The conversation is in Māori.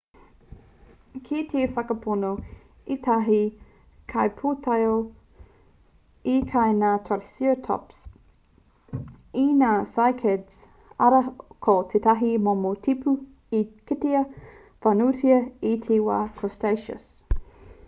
kei te whakapono ētahi kaipūtaiao i kai ngā triceratops i ngā cycads arā ko tētahi momo tipu i kitea whānuitia i te wā cretaceous